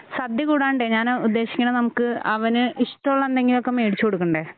സദ്യ കൂടാണ്ടെ ഞാന് ഉദ്ദേശിക്കണെ നമുക്ക് അവന് ഇഷ്ടമുള്ള എന്തെങ്കിലുമൊക്കെ മേടിച്ചു കൊടുക്കണ്ടേ?